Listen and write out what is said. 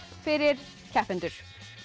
fyrir keppendur